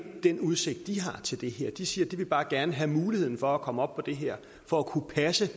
den udsigt de har til det her de siger at de bare gerne vil have muligheden for at komme op på det her for at kunne passe